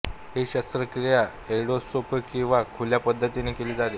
ही शस्त्रक्रिया एंडोस्कोपी किंवा खुल्या पद्धतीने केली जाते